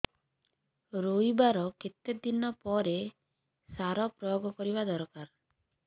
ରୋଈବା ର କେତେ ଦିନ ପରେ ସାର ପ୍ରୋୟାଗ କରିବା ଦରକାର